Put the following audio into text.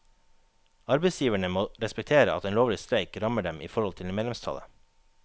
Arbeidsgiverne må respektere at en lovlig streik rammer dem i forhold til medlemstallet.